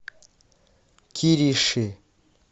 кириши